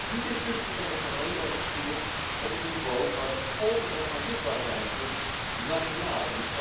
Die discussie kan echter alleen worden gevoerd op het niveau waar de gevolgen ervan zichtbaar zijn, dus nationaal.